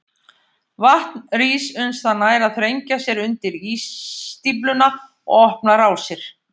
Vatn rís uns það nær að þrengja sér undir ísstífluna og opna rásir.